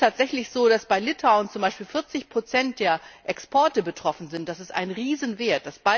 Es ist tatsächlich so, dass bei Litauen zum Beispiel 40 der Exporte betroffen sind, das ist ein Riesenwert.